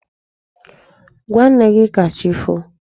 Gwa nne gị ka chi foo!